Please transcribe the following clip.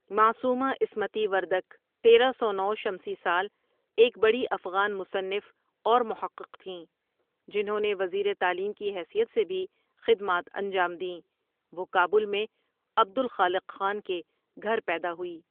معصومہ عصمتی وردک ۱۳۰۹ شمسی سال ایک بڑی افغان مصنف اور محقق تھیں جنہوں نے وزیر تعلیم کی حیثیت سے بھی خدمات انجام دیں وہ کابل میں عبدالخالق خان کے گھر پیدا ہوئی ۔